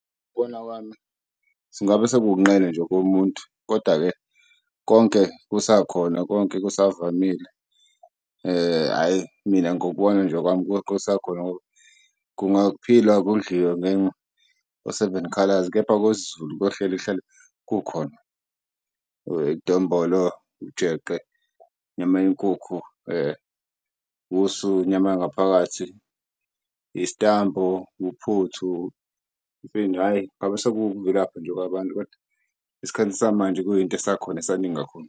Ukubona kwami singabe nje komuntu, kodwa-ke konke kusakhona konke kusavamile, hhayi mina ngokubona nje kwami konke kusakhona ngoba kungaphilwa kudliwe nge-seven-colors kepha kwesizulu kuyohleli kuhlale kukhona idombolo, ujeqe inyama yenkukhu usu, inyama yangaphakathi, isitambu, uphuthu . Hhayi ngabe seku ukuvilapha nje kwabantu kodwa esikhathini samanje kuyinto esakhona esaningi kakhulu.